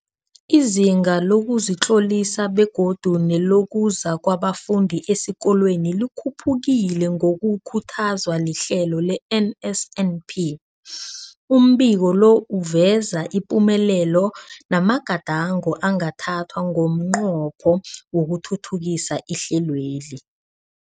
Izinga lokuzitlolisa begodu nelokuza kwabafundi esikolweni likhuphukile ngokukhuthazwa lihlelo le-NSNP. Umbiko lo uveza ipumelelo namagadango angathathwa ngomnqopho wokuthuthukisa ihlelweli.